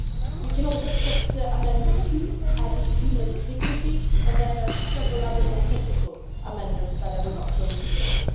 We can also accept Amendment 2 adding human dignity and then several other more technical amendments that I will not go into now.